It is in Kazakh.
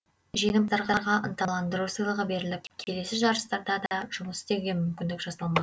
жеңімпаздарға ынталандыру сыйлығы беріліп келесі жарыстарда да жұмыс істеуге мүмкіндік жасалмақ